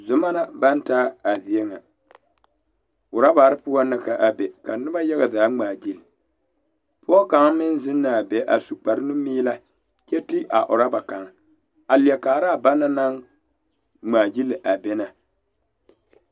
Zoma la baŋ taa a zie ŋa orɔbare poɔŋ na k,a be ka noba yaga zaa ŋmaagyili pɔge kaŋ meŋ zeŋ na a be a su kparenumeelɛ kyɛ ti a orɔba kaŋ a leɛ kaara a bana naŋ ŋmaagyili a be na.